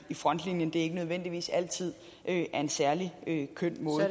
frontlinjen ikke nødvendigvis altid er en særlig køn måde